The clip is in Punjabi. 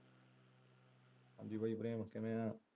ਹਾਂਜੀ ਕਿਵੇਂ ਆ?